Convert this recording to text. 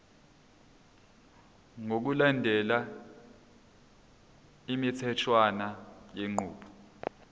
ngokulandela imitheshwana yenqubo